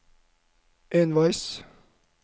enveis